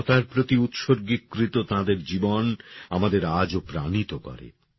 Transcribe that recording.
মানবতার প্রতি উতসর্গীকৃৎ তাঁদের জীবন আমাদের আজও প্রাণিত করে